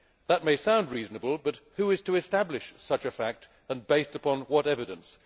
That may sound reasonable, but who is to establish such a fact and based upon what evidence?